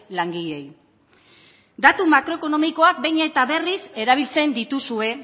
langileei datu makroekonomikoak behin eta berriz erabiltzen dituzue